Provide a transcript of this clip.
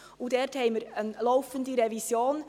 Dort machen wir eine laufende Revision.